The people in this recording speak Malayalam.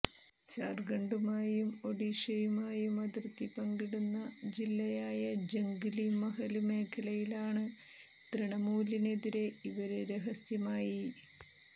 ത്സാര്ഖണ്ഡുമായും ഒഡീഷയുമായും അതിര്ത്തി പങ്കിടുന്ന ജില്ലയായ ജംഗ്്ലി മഹല് മേഖലയിലാണ് തൃണമൂലിനെതിരെ ഇവര് രഹസ്യമായി